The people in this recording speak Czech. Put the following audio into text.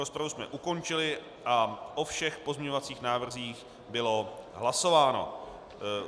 Rozpravu je ukončili a o všech pozměňovacích návrzích bylo hlasováno.